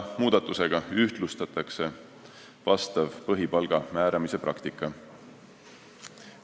Muudatusega ühtlustatakse põhipalga määramise praktika.